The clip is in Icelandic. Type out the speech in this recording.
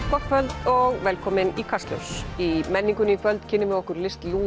gott kvöld og velkomin í Kastljós í menningunni í kvöld kynnum við okkur list